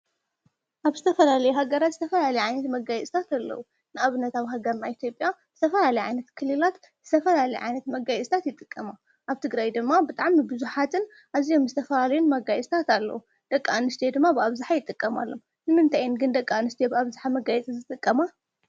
ኣብ ዝተፈላለየ ሃገራት ዝተፈላለዩ ዓይነት መጋየፅታት ኣለዉ፡፡ ንኣብነት ኣብ ሃገርና ኢትዮጵያ ዝተፈላለያ ዓይነት ክልላት ዝተፈላለየ ዓየነት መጋየፅታት ይጥቀማ፡፡ ኣብ ትግራይ ድማ ብጣዕሚ ንብዙሓትን ኣዝዮም ዝተፈላለዩ መጋየፅታት ኣለዉ፡፡ ደቂ ኣንስትዮ ድማ ብኣብዝሓ ይጠቀማሉ ንምንታይ እየን ግን ደቂ ኣንስትዮ ብኣብዝሓ መጋየፂ ዝጥቀማ?